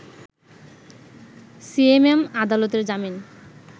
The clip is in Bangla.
সিএমএম আদালতের জামিন